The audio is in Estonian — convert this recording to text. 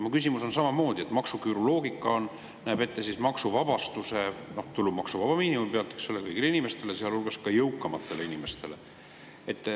Mu küsimus on selle kohta, et maksuküüru loogika näeb ette maksuvabastuse, tulumaksuvaba miinimumi, eks ole, kõigile inimestele, sealhulgas ka jõukamatele inimestele.